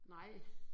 Nej